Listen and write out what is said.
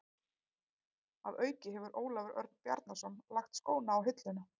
Að auki hefur Ólafur Örn Bjarnason lagt skóna á hilluna.